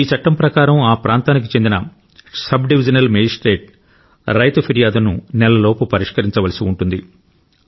ఈ చట్టం ప్రకారం ఆ ప్రాంతానికి చెందిన సబ్ డివిజినల్ మెజిస్ట్రేటు రైతు ఫిర్యాదును నెలలోపు పరిష్కరించవలసి ఉంటుంది